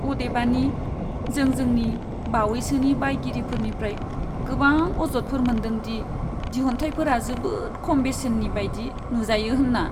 अदेबानि, जों जोंनि बावैसोनि बायगिरिफोरनिफ्राय गोबां अजदफोर मोनदों दि दिहुनथायफोरा जोबोद खम बेसेननि बायदि नुजायो होनना।